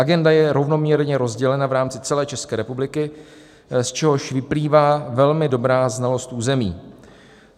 Agenda je rovnoměrně rozdělena v rámci celé České republiky, z čehož vyplývá velmi dobrá znalost území.